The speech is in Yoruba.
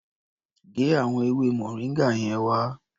Gé àwọn ewé moringa yẹn wá.